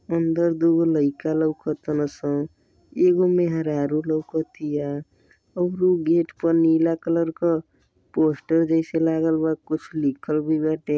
अंदर दुगो लइका लौक तन स। एगो मेहरारू लौकतिया और ऊ गेट पर नीला कलर क पोस्टर जैसे लागल बा कुछ लिखल भी बाटे।